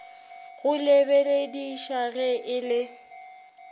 go lebelediša ge e le